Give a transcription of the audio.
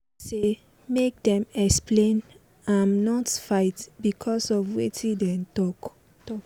im jelely say make dem explain im not fight becos of wetin dem talk